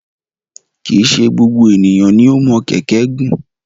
Kì í ṣe gbogbo ènìyàn ni o mọ kẹ̀kẹ́ gùn.